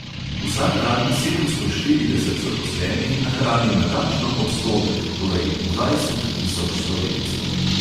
Vsak dan sedemsto štirideset zaposlenih nahrani natančno odstotek, torej dvajset tisoč slovencev.